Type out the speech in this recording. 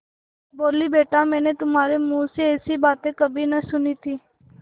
बोलीबेटा मैंने तुम्हारे मुँह से ऐसी बातें कभी नहीं सुनी थीं